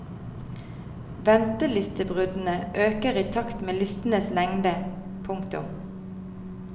Ventelistebruddene øker i takt med listenes lengde. punktum